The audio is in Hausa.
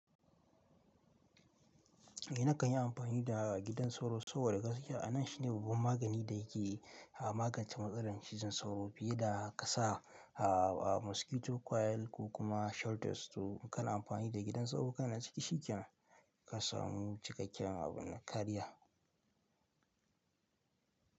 Eh na kan yi amfani da gidan sauro sabo da gas kiya. A nan shine babban magani da yake a magance matsalar cizon sauro fiye da ka sa a mosquito coil ko kuma shutters. To in ka na amfani da gidan sauro, kana ciki shikenan ka samu cikakken abun nakariya.